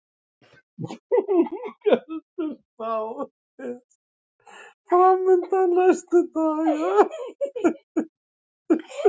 Þung ölduspá er framundan næstu daga